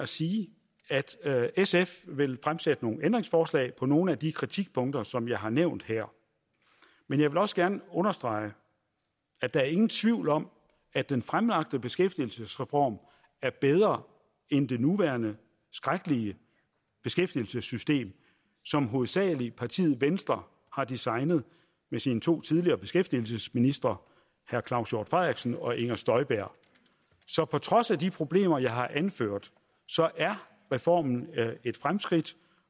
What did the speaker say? sige at sf vil fremsætte nogle ændringsforslag på nogle af de kritikpunkter som jeg har nævnt her men jeg vil også gerne understrege at der er ingen tvivl om at den fremlagte beskæftigelsesreform er bedre end det nuværende skrækkelige beskæftigelsessystem som hovedsagelig partiet venstre har designet med sine to tidligere beskæftigelsesministre herre claus hjort frederiksen og fru inger støjberg så på trods af de problemer jeg har anført er reformen et fremskridt